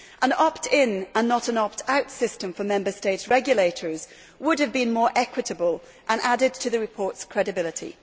An opt in, and not an opt out, system for Member States' regulators would have been more equitable and added to the report's credibility.